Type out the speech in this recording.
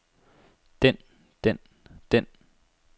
den den den